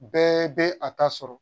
Bɛɛ bɛ a ta sɔrɔ